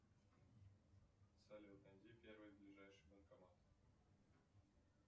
салют найди первый ближайший банкомат